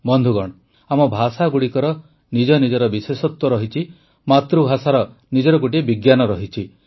ବନ୍ଧୁଗଣ ଆମ ଭାଷାଗୁଡ଼ିକର ନିଜ ନିଜର ବିଶେଷତ୍ୱ ରହିଛି ମାତୃଭାଷାର ନିଜର ଗୋଟିଏ ବିଜ୍ଞାନ ରହିଛି